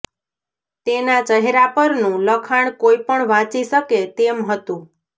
તેના ચહેરા પરનું લખાણ કોઈપણ વાંચી શકે તેમ હતું